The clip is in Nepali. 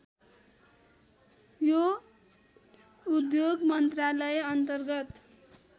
यो उद्योग मन्त्रालयअन्तर्गत